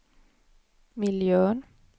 miljön